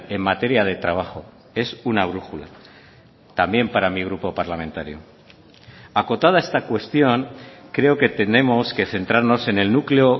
en materia de trabajo es una brújula también para mi grupo parlamentario acotada esta cuestión creo que tenemos que centrarnos en el núcleo